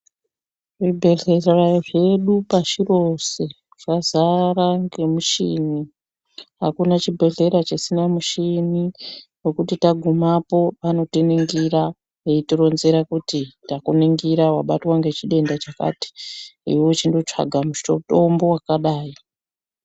Zvibhedhlera zvedu pashu rose zvazara ngemuchini. Hakuna chibhedhlera chisina muchini wekuti tagumapo vanotiningira veitironzera kuti ndakunigira wabatwa ngechidenda chakati. Iwe wochindotsvaga musho mutombo wakadai.